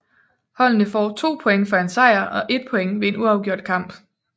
Holdene får 2 point for en sejr og 1 point ved en uafgjort kamp